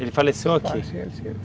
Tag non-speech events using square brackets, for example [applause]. Ele faleceu aqui? [unintelligible]